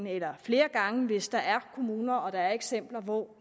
eller flere gange hvis der er kommuner og der er eksempler hvor